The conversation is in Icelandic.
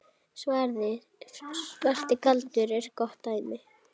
Svarti galdur er gott dæmi.